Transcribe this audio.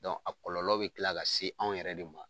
a kɔlɔlɔ be kila ka se anw yɛrɛ de ma.